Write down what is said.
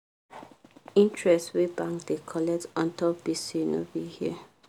interest wey bank da colect untop gbese no be here